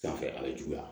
Sanfɛ a bɛ juguya